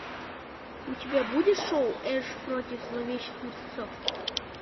у тебя будет шоу эш против зловещих мертвецов